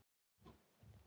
Mér er illt.